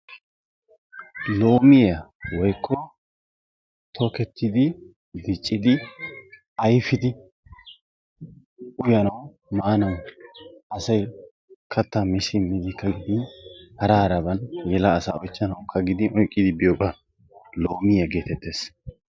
Loomiyaa woykko tokettidi, diccidi, ayfidi uyanaw maanaw asay kattaa mi simmidikka gidin hara haraban yela asaakka oychchanawkka gidin oyqqidi biyoobaa "loomiya" geettetes.